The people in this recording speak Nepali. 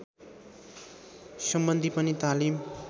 सम्बन्धी पनि तालिम